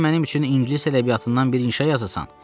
Bəlkə mənim üçün ingilis ədəbiyyatından bir inşa yazasan?